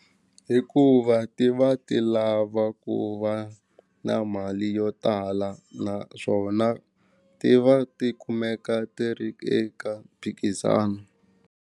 Hikuva ti va ti lava ku va na mali yo tala naswona ti va ti kumeka ti ri eka mphikizano.